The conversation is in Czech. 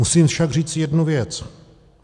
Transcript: Musím však říct jednu věc.